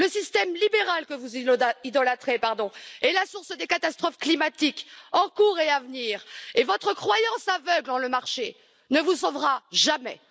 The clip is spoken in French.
Le système libéral que vous idolâtrez est la source des catastrophes climatiques en cours et à venir et votre croyance aveugle dans le marché ne vous sauvera jamais.